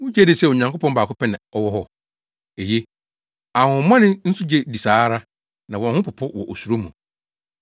Wugye di sɛ Onyankopɔn baako pɛ na ɔwɔ hɔ? Eye! Ahonhommɔne nso gye di saa ara na wɔn ho popo wɔ osuro mu.